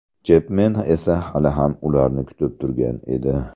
Chepmen esa hali ham ularni kutib turgan edi.